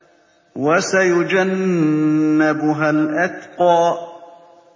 وَسَيُجَنَّبُهَا الْأَتْقَى